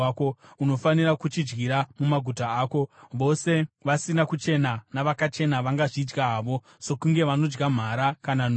Unofanira kuchidyira mumaguta ako. Vose vasina kuchena navakachena vangazvidya havo sokunge vanodya mhara kana nondo.